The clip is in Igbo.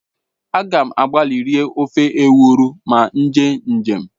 A ga m agbali rie ofe ewuro ma m jee njem